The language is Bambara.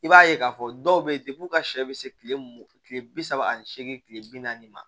I b'a ye k'a fɔ dɔw bɛ yen de u ka sɛ bɛ se tile mugan tile bi saba ani seegin tile bi naani ma